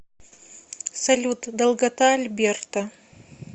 салют долгота альберта